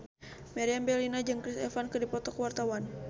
Meriam Bellina jeung Chris Evans keur dipoto ku wartawan